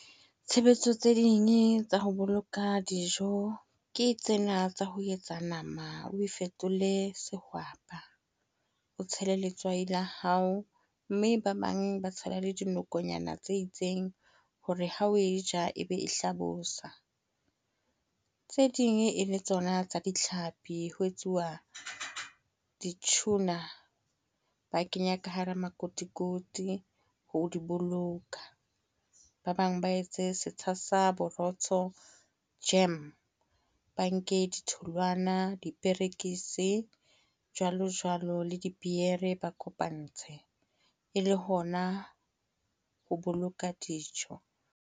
Tshebetso tse ding tsa ho boloka dijo, ke tsena tsa ho etsa nama o e fetole sehwapa. O tshele letswai la hao. Mme ba bang ba tshela le dinokonyana tse itseng, hore ha o e ja e be e hlabosa. Tse ding e le tsona tsa ditlhapi, ho etsuwa di-tuna. Ba kenya ka hara makotikoti ho di boloka. Ba bang ba etse setsha sa borotho, jam. Ba nke ditholwana diperekisi jwalo jwalo le dipiere, ba kopantshe. Ele hona ho boloka dijo.